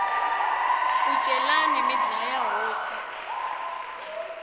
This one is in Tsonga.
ku celani mi dlaya hosi